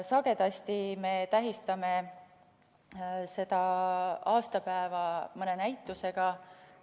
Sagedasti me tähistame seda aastapäeva mõne näitusega.